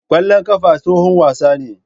Ƙwallon ƙafa tsohon wasa ne.